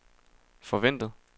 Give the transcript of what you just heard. forventet